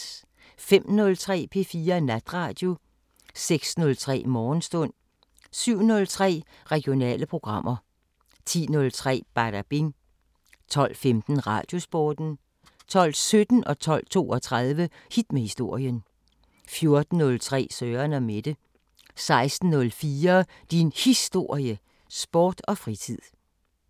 05:03: P4 Natradio 06:03: Morgenstund 07:03: Regionale programmer 10:03: Badabing 12:15: Radiosporten 12:17: Hit med historien 12:32: Hit med historien 14:03: Søren & Mette 16:04: Din Historie – Sport og fritid